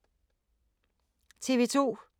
TV 2